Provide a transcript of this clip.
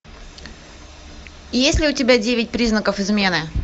есть ли у тебя девять признаков измены